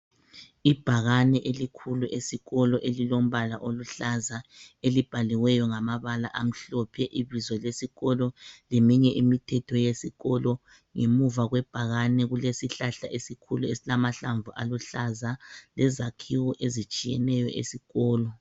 Ibhakane elikhulu esikolo elilombala oluhlaza elibhaliweyo ngamabala amhlophe ibizo lesikolo leminye imithetho yezikolo ngemuva kwebhakane kulesihlahla esikhulu esilamahlamvu aluhlaza lezakhiwo ezitshiyeneyo esikolo.